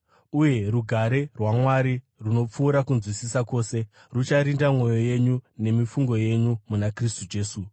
Uye rugare rwaMwari, runopfuura kunzwisisa kwose, rucharinda mwoyo yenyu nemifungo yenyu muna Kristu Jesu.